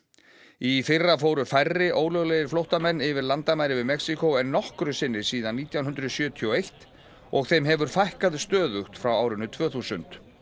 í fyrra fóru færri ólöglegir flóttamenn yfir landamærin við Mexíkó en nokkru sinni síðan nítján hundruð sjötíu og eitt og þeim hefur fækkað stöðugt frá árinu tvö þúsund